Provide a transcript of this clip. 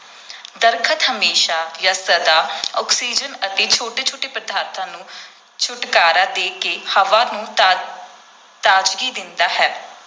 ਦਰੱਖਤ ਹਮੇਸ਼ਾਂ ਜਾਂ ਸਦਾ ਆਕਸੀਜਨ ਅਤੇ ਛੋਟੇ ਛੋਟੇ ਪਦਾਰਥਾਂ ਨੂੰ ਛੁਟਕਾਰਾ ਦੇ ਕੇ ਹਵਾ ਨੂੰ ਤਾ ਤਾਜ਼ਗੀ ਦਿੰਦਾ ਹੈ,